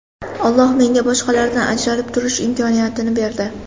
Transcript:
Alloh menga boshqalardan ajralib turish imkoniyatini berdi.